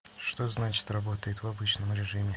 что значит работает в обычном режиме